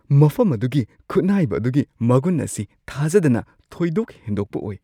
ꯃꯐꯝ ꯑꯗꯨꯒꯤ ꯈꯨꯠꯅꯥꯏꯕ ꯑꯗꯨꯒꯤ ꯃꯒꯨꯟ ꯑꯁꯤ ꯊꯥꯖꯗꯅ ꯊꯣꯏꯗꯣꯛ ꯍꯦꯟꯗꯣꯛꯄ ꯑꯣꯏ ꯫